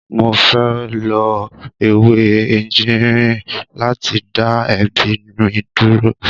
Mo fẹ́ lo ewé ejìnrìn láti dá èébì mi dúró.